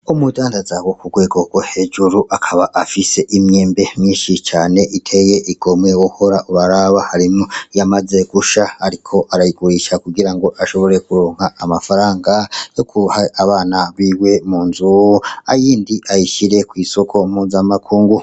Umudandaza wo kurwego rwo hejuru akaba afise imyembe myinshi cane iteye igomwe wohora uraraba, harimwo iyamaze gusha ariko arayigurisha kugira ngo ashobore kuronka amafaranga yoguha abana biwe mu nzu, iyindi ayishire kw'isoko mpuza makungu.